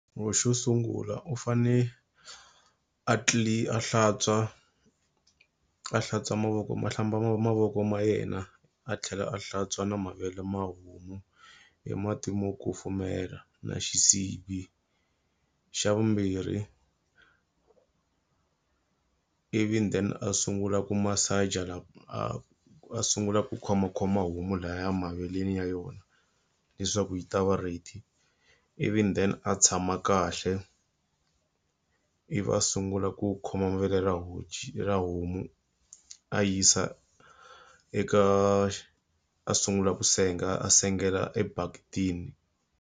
Xo sungula u fanele a a hlantswa a hlantswa mavoko ma a hlamba mavoko ma yena a tlhela a hlantswa na mavele ma homu hi mati mo kufumela na xisibi. Xa vumbirhi ivi then a sungula ku masaja a a sungula ku khomakhoma homu lahaya maveleni ya yona leswaku yi ta va ready. Ivi then a tshama kahle. Ivi va sungula ku khoma mavele ra honci ra homu a yisa eka a sungula ku senga a sengela ebaketini.